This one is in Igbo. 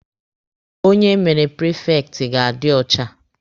Onye emere prifekti ga-adi ọcha.